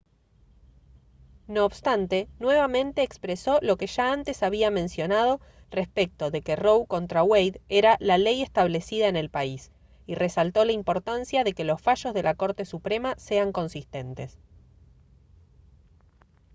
no obstante nuevamente expresó lo que ya antes había mencionado respecto de que roe contra wade era la «ley establecida en el país» y resaltó la importancia de que los fallos de la corte suprema sean consistentes